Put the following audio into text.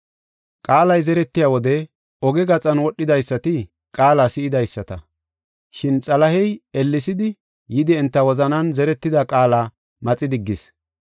Qaalay zeretiya wode oge gaxan wodhidaysati qaala si7idaysata. Shin Xalahey ellesidi, yidi enta wozanan zeretida qaala maxi diggees.